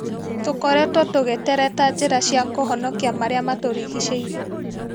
Tũkoretwo tũgĩtereta njĩra cia kũhonokia marĩa matũrigicĩirie.